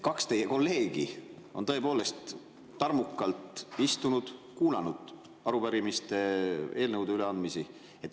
Kaks teie kolleegi on tõepoolest tarmukalt istunud, kuulanud arupärimiste ja eelnõude üleandmist.